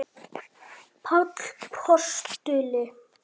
Páll postuli?